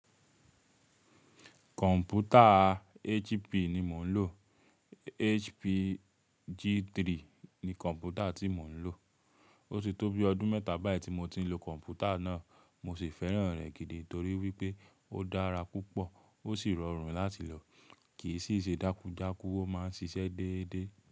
Computer HP ni mò ń lò. HP G3 ni computer tí mo ń lò. Ó ti tó bí ọdún mẹ́ta báyìí tí mo ti ń lo kọ̀m̀pútà náà. Mo sì fẹ́ràn rẹ̀ gidi torí wípé ó dára púpọ̀, ó sii rọrùn láti lò, kìí sì ṣe dákú dákú. Ó máa ń ṣiṣẹ́ dédé.